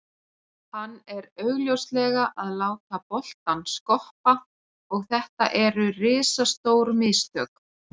Hann er augljóslega að láta boltann skoppa og þetta eru risastór mistök.